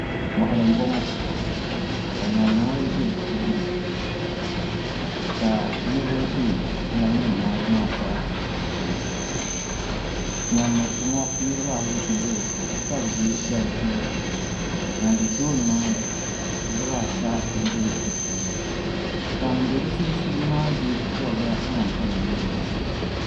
moɣali m boŋo ka ŋarima ayi bɛ di puuni ka niraba bɛ ŋarima nim ayi maa zaa puuni din miriti ŋo niraba ayi n bɛ dinni ka bi yɛ daliya nima din bɛ tooni maa ni niraba ata n bɛ di puuni ka ŋun bɛ di sunsuuni maa yɛ daliya ŋan kama nyɛ zaɣ ʒiɛ